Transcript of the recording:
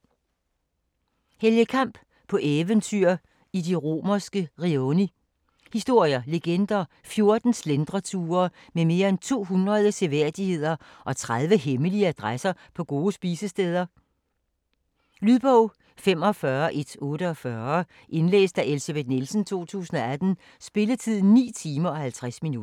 Kamp, Helge: På eventyr i de romerske rioni Historier, legender, 14 slentreture med mere end 200 seværdigheder og 30 hemmelige adresser på gode spisesteder. Lydbog 45148 Indlæst af Elsebeth Nielsen, 2018. Spilletid: 9 timer, 50 minutter.